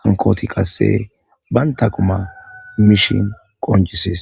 hankoti qasse banta quma mishin qoncisis